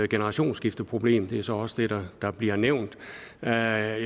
generationsskifteproblem det er så også det der der bliver nævnt jeg